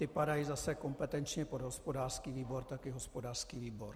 Ty padají zase kompetenčně pod hospodářský výbor, tak i hospodářský výbor.